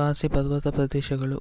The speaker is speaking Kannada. ಖಾಸಿ ಪರ್ವತ ಪ್ರದೇಶಗಳು